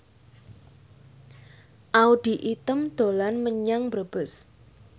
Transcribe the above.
Audy Item dolan menyang Brebes